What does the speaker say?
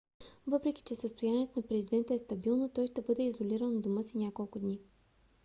въпреки че състоянието на президента е стабилно той ще бъде изолиран у дома си няколко дни